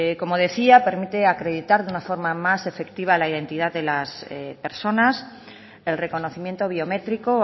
como decía permite acreditar de una forma más efectiva la identidad de las personas el reconocimiento biométrico